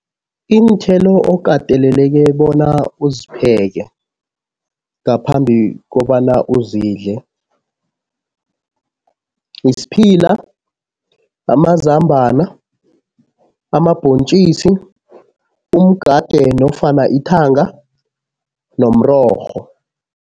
Iinthelo okateleleke bona uzipheke ngaphambi kobana uzidle, isiphila, amazambana, amabhontjisi, umgade nofana ithanga nomrorho.